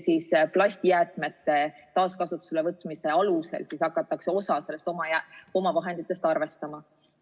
Plastijäätmete taaskasutusele võtmise alusel hakatakse seda omavahendite osa arvestama.